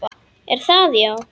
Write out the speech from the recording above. Er það, já?